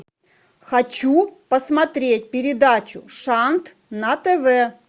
хочу посмотреть передачу шант на тв